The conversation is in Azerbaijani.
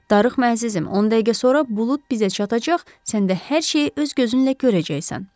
Darıxma əzizim, 10 dəqiqə sonra bulud bizə çatacaq, sən də hər şeyi öz gözünlə görəcəksən.